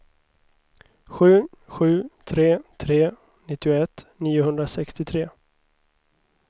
sju sju tre tre nittioett niohundrasextiotre